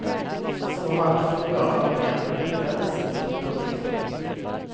Så varför gör armén på detta viset. punkt